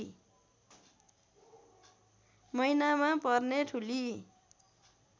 महिनामा पर्ने ठुली